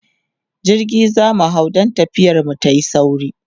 jirgi zamu hau dan tafiyar mu tayi sauri